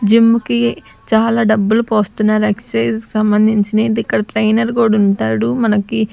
జిమ్ముకి చాలా డబ్బులు పోస్తున్నారు ఎక్సైజ్ సంబంధించినయి ఇక్కడ ట్రైనర్ కూడా ఉంటాడు మనకి--